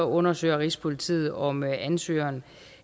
undersøger rigspolitiet om ansøgerne